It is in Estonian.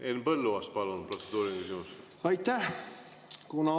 Henn Põlluaas, palun, protseduuriline küsimus!